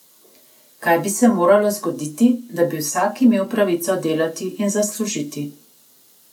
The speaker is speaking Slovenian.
Kaj bi se moralo zgoditi, da bi vsak imel pravico delati in zaslužiti?